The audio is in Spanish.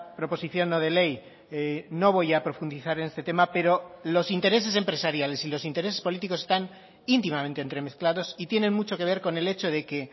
proposición no de ley no voy a profundizar en este tema pero los intereses empresariales y los intereses políticos están íntimamente entremezclados y tienen mucho que ver con el hecho de que